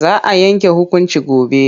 Za a yanke hukunci gobe.